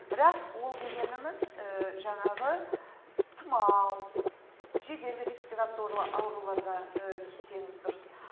бірақ ол дегеніміз жаңағы тұмау жедел респературлы ауруларға кисеңіз дұрыс